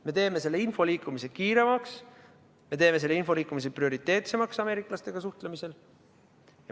Me teeme selle info liikumise kiiremaks, me teeme selle info liikumise prioriteetsemaks ameeriklastega suhtlemisel.